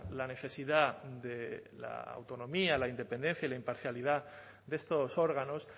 la necesidad de la autonomía la independencia y la imparcialidad de estos órganos